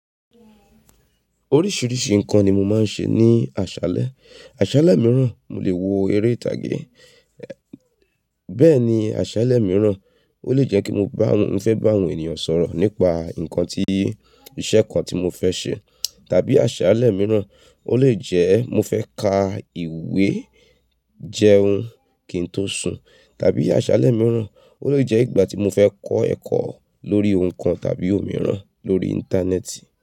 Oríṣìíríṣìí nǹkan ni mo máa ń ṣe ní àṣálẹ́. Àṣálẹ́ mìíràn, mo lè wo eré ìtàgé. Bẹ́ẹ̀ ni àṣálẹ́ mìíràn, ó lè jẹ́ kí mo bá m, mo fẹ́ bá àwọn ènìyàn sọ̀rọ̀ nípa nǹkan tí, iṣẹ́ kan tí mo fẹ́ ṣe. Tàbí àṣálẹ́ mìíràn, ó lè jẹ́ mo fẹ́ ka ìwé jẹun kí n tó sùn. Tàbí àṣálẹ́ mìíràn, ó lè jẹ́ ìgbà tí mo fẹ́ kọ́ ẹ̀kọ́ lórí ohun kan tàbí òmíràn lórí Íńtánẹ́ẹ̀tì.